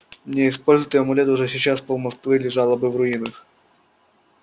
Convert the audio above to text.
не используй ты амулет уже сейчас пол-москвы лежало бы в руинах